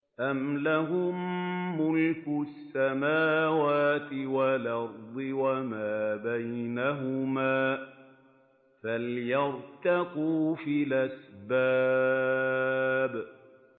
أَمْ لَهُم مُّلْكُ السَّمَاوَاتِ وَالْأَرْضِ وَمَا بَيْنَهُمَا ۖ فَلْيَرْتَقُوا فِي الْأَسْبَابِ